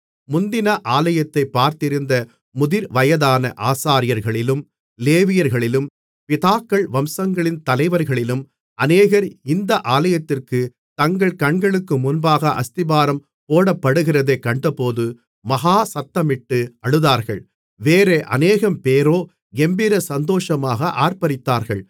முந்தின ஆலயத்தைப் பார்த்திருந்த முதிர்வயதான ஆசாரியர்களிலும் லேவியர்களிலும் பிதாக்கள் வம்சங்களின் தலைவர்களிலும் அநேகர் இந்த ஆலயத்திற்குத் தங்கள் கண்களுக்கு முன்பாக அஸ்திபாரம் போடப்படுகிறதைக் கண்டபோது மகா சத்தமிட்டு அழுதார்கள் வேறே அநேகம்பேரோ கெம்பீர சந்தோஷமாக ஆர்ப்பரித்தார்கள்